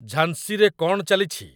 ଝାଂସିରେ କଣ ଚାଲିଛି